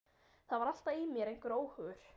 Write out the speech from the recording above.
Það var alltaf í mér einhver óhugur.